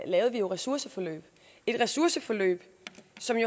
lavede vi ressourceforløb et ressourceforløb